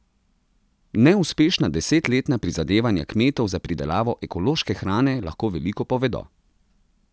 Neuspešna desetletna prizadevanja kmetov za pridelavo ekološke hrane lahko veliko povedo.